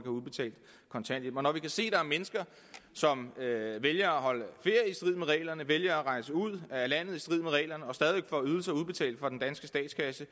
udbetalt kontanthjælp når vi kan se at der er mennesker som vælger at holde ferie i strid med reglerne som vælger at rejse ud af landet i strid med reglerne og stadig får ydelser udbetalt fra den danske statskasse